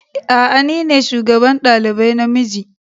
A'a ni ne shugaban dalibai na miji.